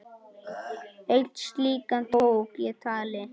Einn slíkan tók ég tali.